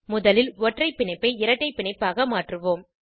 முதலில் ஒற்றைப் பிணைப்பை இரட்டை பிணைப்பாக மாற்றுவோம்